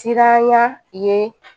Siranya ye